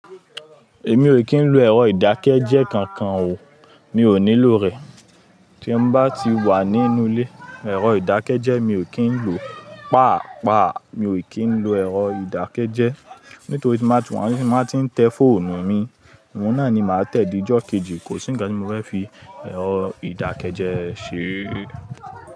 Èmi ò kín lo ẹ̀rọ ìdákẹ́jẹ́ kankan o, mi ò ní lo rẹ̀. Tí ń bá ti wà nínú ilé, ẹ̀rọ ìdákẹ́jẹ́ mi ò kín ló. Pàápàá mi ò kín lo ẹ̀rọ ìdákẹ́jẹ́. Nítorí tí má ti wà níbí, má tí ń tẹ fóònù mi. Òun náà ni màá tẹ di ọjọ́ kejì, kò sí nkan tí mo fẹ́ fi ẹ̀rọ ìdákẹ́jẹ́ ṣe.